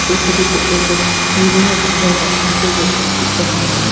এই ফটো টো একো চিড়িয়া ঘরের ফটো বটে যাহা--